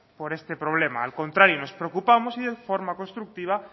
por este problema al contrario nos preocupamos y de forma constructiva